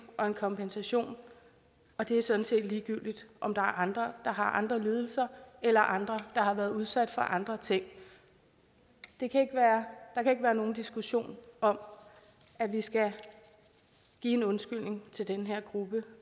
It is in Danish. og en kompensation og det er sådan set ligegyldigt om der er andre der har andre lidelser eller andre der har været udsat for andre ting der kan ikke være nogen diskussion om at vi skal give en undskyldning til den her gruppe